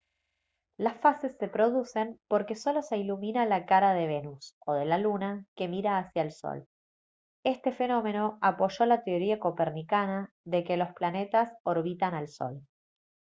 las fases se producen porque solo se ilumina la cara de venus o de la luna que mira hacia el sol. este fenómeno apoyó la teoría copernicana de que los planetas orbitan al sol